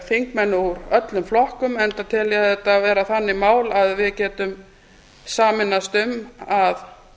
þingmenn úr öllum flokkum enda tel ég þetta vera þannig mál að við getum sameinast um að